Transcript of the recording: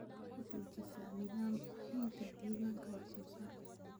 Waxaa dejisa nidaam haynta diiwaanka wax soo saarka.